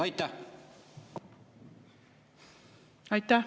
Aitäh!